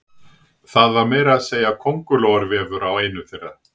Það var meira að segja kóngulóarvefur á einu þeirra.